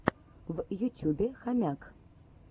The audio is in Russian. в ютюбе хомяк